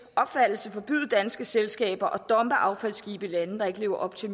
opfattelse forbyde danske selskaber at dumpe affaldsskibe i lande der ikke lever op til